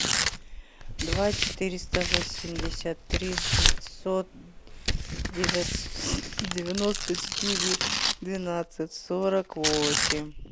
два четыреста восемьдесят три шестьсот девяносто четыре двенадцать сорок восемь